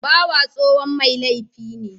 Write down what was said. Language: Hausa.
Bawa tsohon mai laifi ne